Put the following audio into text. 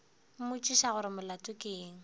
mmotšiša gore molato ke eng